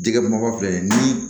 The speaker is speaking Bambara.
Jɛgɛ mɔgɔ filɛ ni